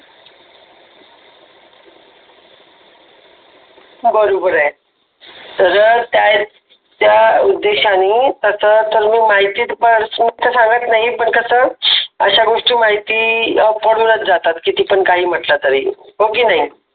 बरोबर आहे जर त्या उद्देशाने तस तर मी माहिती पासून तर सांगत नाही पण कसं अशा गोष्टी माहिती पडूनच जातात किती पण काही पण म्हटलं तरी हो की नाही.